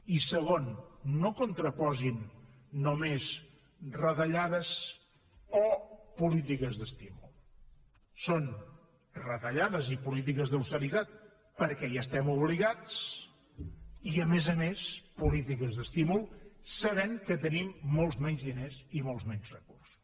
i segon no contraposin només retallades o polítiques d’estímul són retallades i polítiques d’austeritat perquè hi estem obligats i a més a més polítiques d’estímul sabent que tenim molts menys diners i molts menys recursos